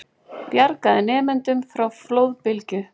Bjargaði nemendum frá flóðbylgju